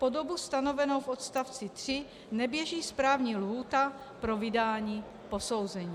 Po dobu stanovenou v odstavci 3 neběží správní lhůta pro vydání posouzení.